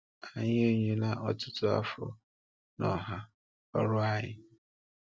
Anyị e nyere ọtụtụ afọ n’ọhà ọrụ anyị.